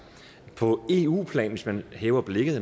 på eu plan hvis man hæver blikket